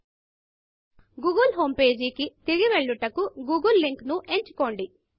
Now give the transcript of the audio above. Google homepageగూగుల్ home పేజికి తిరిగి వెళ్ళుటకు googleగూగుల్ లింకు ను ఎంచుకోండి